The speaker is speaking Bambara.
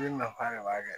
nafa de b'a kɛ